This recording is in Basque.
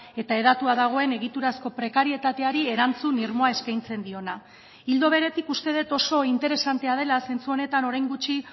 eta hedatua dagoen egiturazko prekarietateari erantzun irmoa eskaintzen diona ildo beretik uste dut oso interesantea dela zentsu honetan orain gutxi